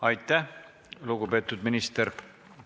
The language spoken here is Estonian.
Aitäh, lugupeetud minister!